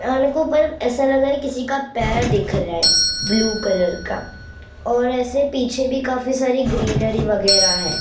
और मेरे को ऊपर ऐसा लग रहा है किसी का पैर दिख रहा है ब्लू कलर का और ऐसे पीछे भी काफी सारी ग्रीनरी वगैरह है।